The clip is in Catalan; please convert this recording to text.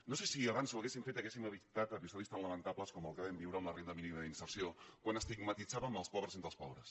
no sé si si abans ho haguéssim fet haguéssim evitat episodis tan lamentables com el que vam viure amb la renda mínima d’inserció quan estigmatitzàvem els pobres entre els pobres